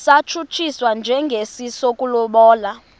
satshutshiswa njengesi sokulobola